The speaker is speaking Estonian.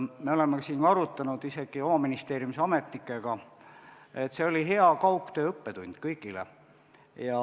Me oleme arutanud oma ministeeriumis ametnikega, et see oli hea kaugtöö õppetund kõigile.